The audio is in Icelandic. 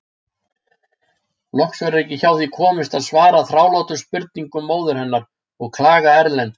Loks verður ekki hjá því komist að svara þrálátum spurningum móður hennar og klaga Erlend.